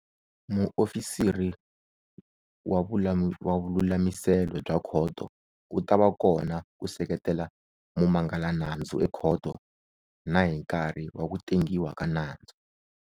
Muofisiri wa vululamiselo bya khoto u ta va kona ku seketela mumangalanandzu ekhoto na hi nkarhi wa ku tengiwa ka nandzu.